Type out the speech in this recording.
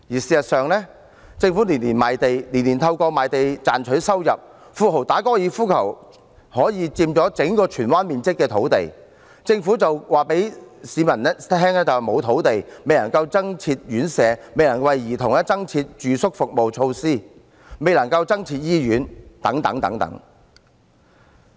事實上，政府每年賣地，每年透過賣地賺取收入，富豪打高爾夫球可以佔用相當於整個荃灣面積的土地，政府卻告訴市民沒有土地，因此未能增設院舍，未能為兒童增設住宿服務設施，未能增設醫院等。